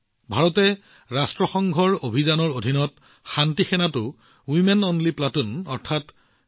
ভাৰতে ৰাষ্ট্ৰসংঘৰ অভিযানৰ অধীনত শান্তিৰক্ষী বাহিনীত এক মাত্ৰ মহিলা প্লাটুনো মোতায়েন কৰিছে